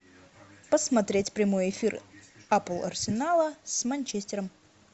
посмотреть прямой эфир апл арсенала с манчестером